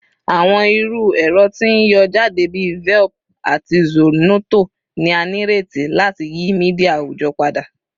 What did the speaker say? Awọn iru ẹrọ ti n yọ jade bi Velp ati Zornoto ni a nireti lati yi media awujọ pada